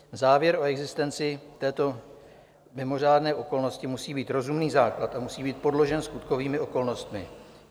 Závěr o existenci této mimořádné okolnosti musí mít rozumný základ a musí být podložen skutkovými okolnostmi.